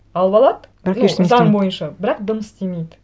алып алады бірақ ештеңе істемейді ну заң бойынша бірақ дым істемейді